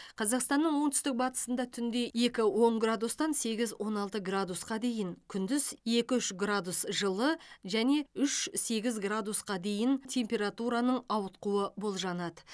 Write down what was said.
қазақстанның оңтүстік батысында түнде екі он градустан сегіз он алты градусқа дейін күндіз екі үш градус жылы және үш сегіз градусқа дейін температураның ауытқуы болжанады